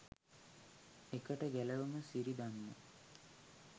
එකට ගැලවුම සිරිදම්ම